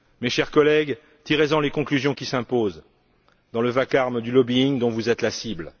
Chers collègues, tirez en les conclusions qui s'imposent dans le vacarme du lobbying dont vous êtes la cible.